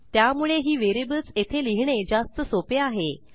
त्यामुळे ही व्हेरिएबल्स येथे लिहिणे जास्त सोपे आहे